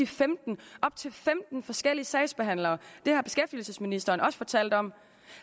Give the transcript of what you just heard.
femten op til femten forskellige sagsbehandlere det har beskæftigelsesministeren også fortalt om